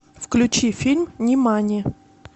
включи фильм нимани